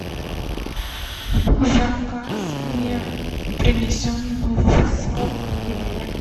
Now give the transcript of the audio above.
заказ не принесен в срок в номер